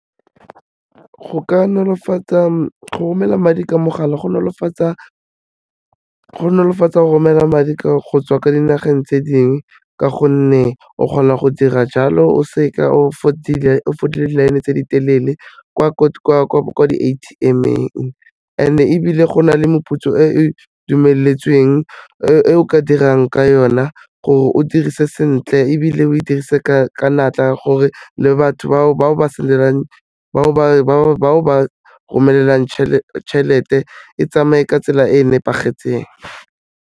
go romela madi ka mogala go nolofatsa go romela madi go tswa kwa dinageng tse dingwe ka gonne, o kgona go dira jalo o se ka o fodile di-line tse di telele kwa di-A_T_M-eng and-e ebile go na le moputso e e dumeletsweng e o ka dirang ka yona gore o dirise sentle ebile o e dirise ka natla gore le batho bao o ba romelelang tšhelete e tsamaye ka tsela e e nepagetseng.